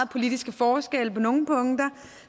politiske forskelle